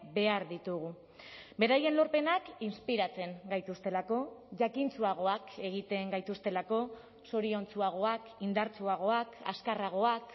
behar ditugu beraien lorpenak inspiratzen gaituztelako jakintsuagoak egiten gaituztelako zoriontsuagoak indartsuagoak azkarragoak